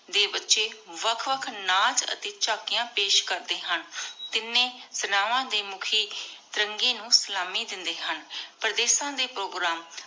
ਦੇ ਬੱਚੇ ਵਖ ਵਖ ਨਾਚ ਅਤੇ ਝਾਕੀਆਂ ਪੇਸ਼ ਕਰਦੇ ਹਨ। ਤਿਨੀ ਸੇਨਾਵਾਂ ਦੇ ਮੁਖੀ ਤਿਰੰਗੇ ਨੂ ਸਿਲਾਮੀ ਦੇਂਦੀ ਹਨ। ਪਰਦੇਸਾਂ ਦੇ programme